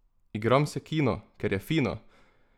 Igram se kino, ker je fino!